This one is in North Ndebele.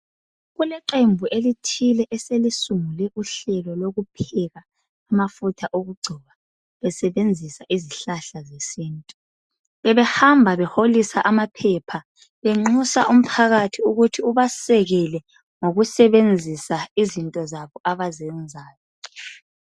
Kuleqembu elithile eselisungule uhlelo lokupheka amafutha okugcoba besebenzisa izihlahla zesintu, bebehamba beholisa amaphepha benxusa umphakathi ukuthi ubasekele ngokusebenzisa izinto zabo abazenzayo.